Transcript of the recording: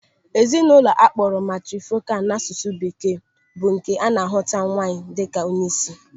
Ezinụlọ akpọrọ matrifokal n'asụsụ bekee bụ nke a na-ahụta nwaanyị dịka onyeisi.